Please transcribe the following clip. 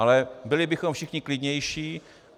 Ale byli bychom všichni klidnější.